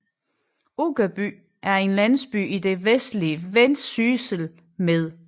Uggerby er en landsby i det vestlige Vendsyssel med